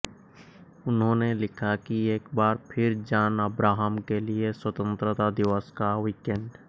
उन्होंने लिखा कि एक बार फिर जॉन अब्राहम के लिए स्वतंत्रता दिवस का वीकेंड